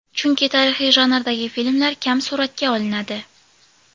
Chunki tarixiy janrdagi filmlar kam suratga olinadi.